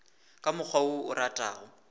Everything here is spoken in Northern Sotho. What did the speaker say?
ka mokgwa wo o ratago